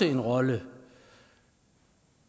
en rolle